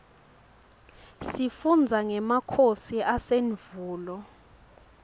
sifundza ngemakhosi asendvulo